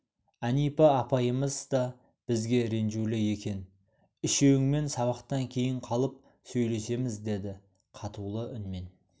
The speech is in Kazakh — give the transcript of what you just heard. әнипа апайымыз да бізге ренжулі екен үшеуіңмен сабақтан кейін қалып сөйлесеміз деді қатулы үнмен